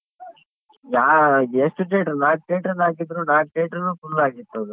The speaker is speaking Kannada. ಯಾ ಎಷ್ಟು theatre ನಾಕ್ theatre ಅಲ್ ಹಾಕಿದ್ರು ನಾಕ್ theatre ನು full ಆಗಿತ್ತು ಅದು.